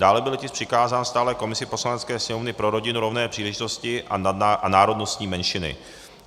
Dále byl tisk přikázán stálé komisi Poslanecké sněmovny pro rodinu, rovné příležitosti a národnostní menšiny.